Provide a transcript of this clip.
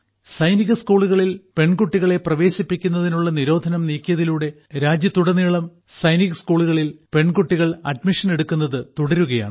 സൈനിക സ്കൂളുകളിൽ പെൺകുട്ടികളെ പ്രവേശിപ്പിക്കുന്നതിനുള്ള നിരോധനം നീക്കിയതിലൂടെ രാജ്യത്തുടനീളം സൈനിക് സ്കൂളുകളിൽ പെൺകുട്ടികൾ അഡ്മിഷൻ എടുക്കുന്നതു തുടരുകയാണ്